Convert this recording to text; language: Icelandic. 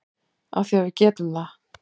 Af því að við getum það.